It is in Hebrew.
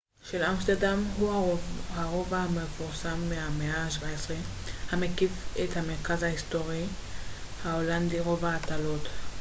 רובע התעלות הולנדית: grachtengordel הוא הרובע המפורסם מהמאה ה־17 המקיף את המרכז ההיסטורי binnenstad של אמסטרדם